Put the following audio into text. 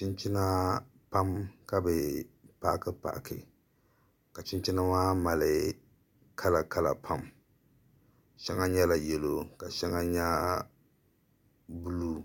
Chinchina pam ka bi paaki paaki ka chinchina maa mali kala pam shɛŋa nyɛla yɛlo ka shɛŋa nyɛ buluu